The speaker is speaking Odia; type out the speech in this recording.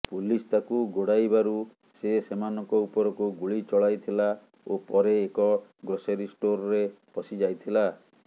ପୁଲିସ୍ ତାକୁ ଗୋଡ଼ାଇବାରୁ ସେ ସେମାନଙ୍କ ଉପରକୁ ଗୁଳି ଚଳାଇଥିଲା ଓ ପରେ ଏକ ଗ୍ରୋସରୀ ଷ୍ଟୋର୍ରେ ପଶିଯାଇଥିଲା